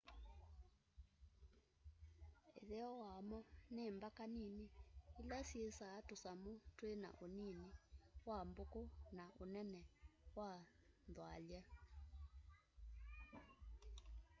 ĩtheo wamo nĩ mbaka nĩnĩ ĩla syĩĩsa tũsamũ twĩna ũnĩnĩ wa mbũkũ na ũnene wa nthwalya